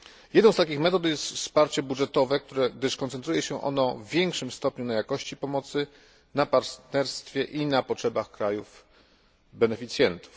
Jedną z takich metod jest wsparcie budżetowe, gdyż koncentruje się ono w większym stopniu na jakości pomocy, na partnerstwie i na potrzebach krajów beneficjentów.